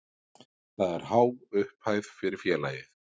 Það er há upphæð fyrir félagið.